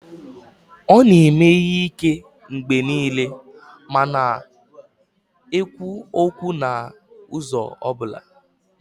Ọ na-eme ihe ike mgbe niile ma na-ekwu okwu n'ụzọ ọ bụla